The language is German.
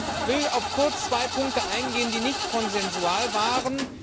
Ich will kurz auf zwei Punkte eingehen, die nicht konsensual waren.